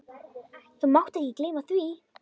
Þú mátt ekki gleyma því!